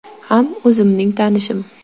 Ham o‘zimning tanishim.